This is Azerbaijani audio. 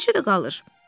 Eləcə də qalır.